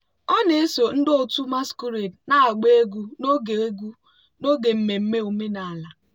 ọ na-eso ndị otu masquerade na-agba egwu n'oge egwu n'oge mmemme omenala.